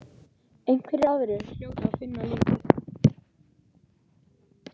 Einhverjir aðrir hljóta að finna líkið.